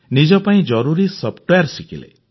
ନିଜ ପାଇଁ ଜରୁରୀ ସଫ୍ଟୱେୟାର ଶିଖିଲେ